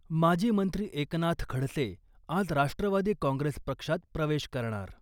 माजी मंत्री एकनाथ खडसे आज राष्ट्रवादी काँग्रेस पक्षात प्रवेश करणार .